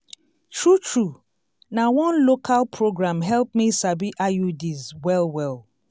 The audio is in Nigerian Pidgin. true true na one local program help me sabi iuds well well.